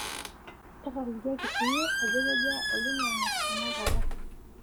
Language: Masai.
tatalikiaki siiyie ajo kejaa olaing'ang'e tenakata